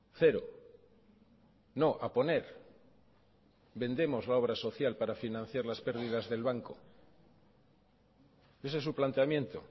cero no a poner vendemos la obra social para financiar las pérdidas del banco ese es su planteamiento